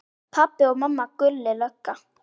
Pabbi og mamma, Gulli lögga.